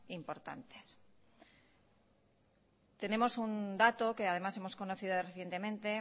importantes tenemos un dato que además hemos conocido recientemente